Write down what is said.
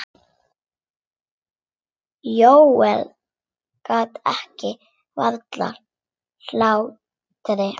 Jóel gat ekki varist hlátri.